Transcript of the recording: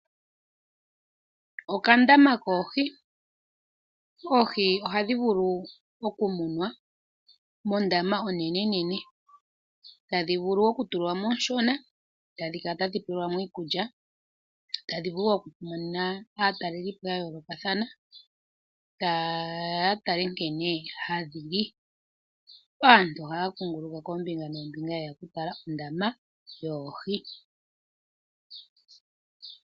Okandama koohi Oohi ohadhi vulu okumunwa mondaama onenenene. Ohadhi vulu okutulwa mo oonshona, tadhi kala tadhi pelwa mo iikulya, tadhi vulu wo okumona aatalelipo ya yoolokathana, taye ya ya tale nkene hadhi li. Aantu ohaya kuunguluka koombinga noombinga ye ya okutala ondaama yoohi.